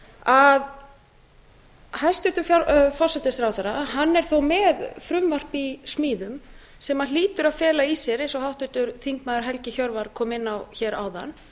að hæstvirtur forsætisráðherra hann er þó með frumvarp í smíðum sem hlýtur að fela í sér eins og háttvirtur þingmaður helgi hjörvar kom inn á hér áðan